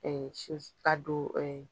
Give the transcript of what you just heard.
ka don